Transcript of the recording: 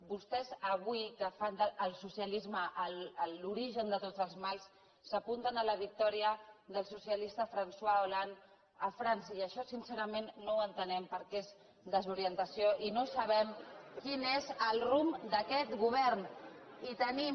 vostès avui que fan del socialisme l’origen de tots els mals s’apunten a la victòria del socialista françois hollande a frança i això sincerament no ho entenem perquè és desorientació i no sabem quin és el rumb d’aquest govern i tenim